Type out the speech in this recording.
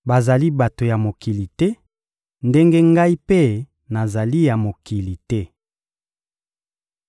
Bazali bato ya mokili te, ndenge Ngai mpe nazali ya mokili te.